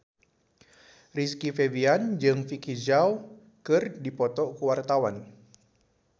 Rizky Febian jeung Vicki Zao keur dipoto ku wartawan